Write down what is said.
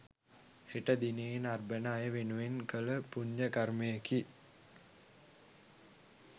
හෙට දිනයේ නරඹන අය වෙනුවෙන් කල පුන්‍ය කර්මයකි.